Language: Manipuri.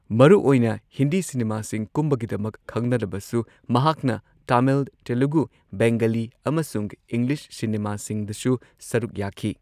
ꯃꯔꯨ ꯑꯣꯏꯅ ꯍꯤꯟꯗꯤ ꯁꯤꯅꯤꯃꯥꯁꯤꯡ ꯀꯨꯝꯕꯒꯤꯗꯃꯛ ꯈꯪꯅꯔꯕꯁꯨ ꯃꯍꯥꯛꯅ ꯇꯥꯃꯤꯜ, ꯇꯦꯂꯨꯒꯨ, ꯕꯦꯡꯒꯂꯤ, ꯑꯃꯁꯨꯡ ꯏꯪꯂꯤꯁ ꯁꯤꯅꯦꯃꯥꯁꯤꯡꯗꯁꯨ ꯁꯔꯨꯛ ꯌꯥꯈꯤ꯫